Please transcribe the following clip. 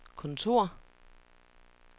kontor